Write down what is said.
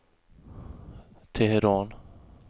Teheran